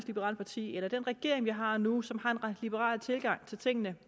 liberale parti eller den regering vi har nu som har en liberal tilgang til tingene